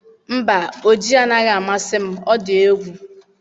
Mba, oji anaghị amasị m ọ dị egwu